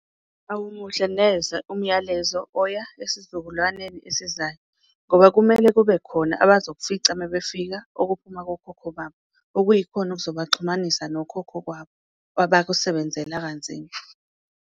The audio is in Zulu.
Awumuhle neze umyalezo oya esizukulwaneni esizayo ngoba kumele kube khona abazoyifica mabefika okuphuma kokhokho babo, okuyikhona okuzobaxhumanisa nokhokho kwabo abakusebenzela kanzima.